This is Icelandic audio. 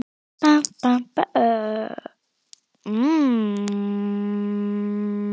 Ég leysti þig úr haldi síðastliðið haust, illu heilli.